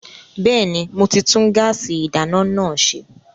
Bẹ́ẹ̀ni, mo ti tún gáàsì ìdáná náà ṣe